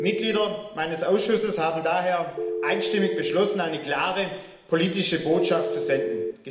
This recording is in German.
Die Mitglieder meines Ausschusses haben daher einstimmig beschlossen, eine klare politische Botschaft zu senden.